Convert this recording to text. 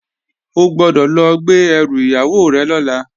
O gbọ́dọ̀ lọ gbé ẹrù ìyàwó rẹ̀ lọ́la!